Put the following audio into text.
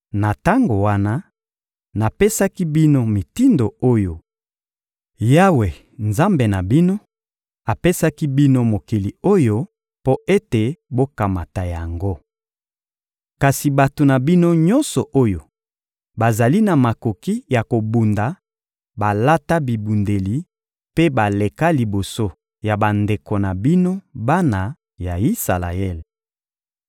Na tango wana, napesaki bino mitindo oyo: «Yawe, Nzambe na bino, apesaki bino mokili oyo mpo ete bokamata yango. Kasi bato na bino nyonso oyo bazali na makoki ya kobunda balata bibundeli mpe baleka liboso ya bandeko na bino bana ya Isalaele.